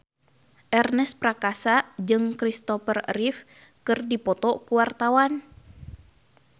Ernest Prakasa jeung Christopher Reeve keur dipoto ku wartawan